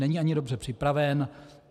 Není ani dobře připraven.